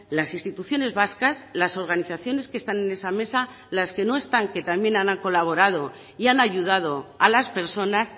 las instituciones vascas las organizaciones que están en esa mesa las que no están que también han colaborado y han ayudado a las personas